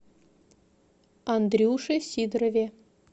андрюше сидорове